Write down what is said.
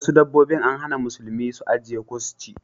Wasu dabbobi an hana musulmi su ajiye ko su ci.